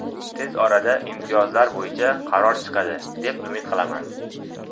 Tez orada imtiyozlar bo‘yicha qaror chiqadi, deb umid qilaman.